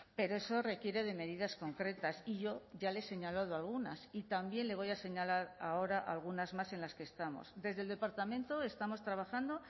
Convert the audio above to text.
pero eso requiere de medidas concretas y yo ya le he señalado algunas y también le voy a señalar ahora algunas más en las que estamos desde el departamento estamos trabajando